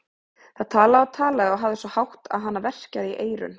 Það talaði og talaði og hafði svo hátt að hana verkjaði í eyrun.